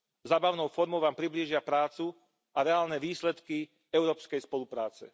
Zábavnou formou vám priblížia prácu a reálne výsledky európskej spolupráce.